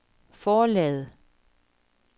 forlaget